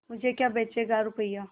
मुझे क्या बेचेगा रुपय्या